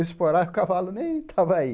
Eu esporava e o cavalo nem estava aí.